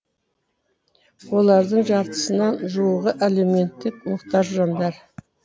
олардың жартысына жуығы әлеуметтік мұқтаж жандар